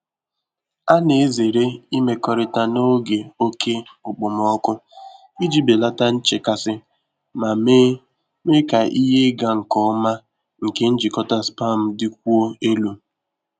A na-ezere imekọrịta n'oge oke okpomọkụ iji belata nchekasị ma mee mee ka ihe ịga nke ọma nke njikọta spam dịkwuo elu.